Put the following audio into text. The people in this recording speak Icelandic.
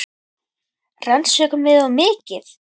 Rannsökum við of mikið?